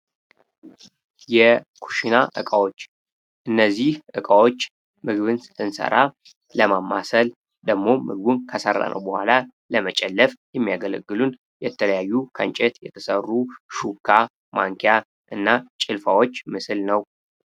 የኩሽና እቃዎች እነዚህ እቃዎች ምግብን ስንሰራ ለማማሰል ደግሞ ምግቡን ከሰራነው በኋላ ለመጨለፍ የተለያዩ ከእንጨት የተሰሩ ሹካ ማንኪያና ጭልፋዎች ምስል ነው።